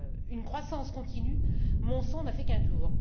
une croissance continue, mon sang n'a fait qu'un tour.